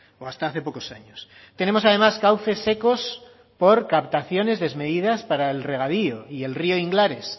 o hasta hace pocos años tenemos además cauces secos por captaciones desmedidas para el regadío y el río inglares